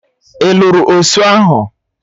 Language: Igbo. Ị lụrụ osụ ahụ?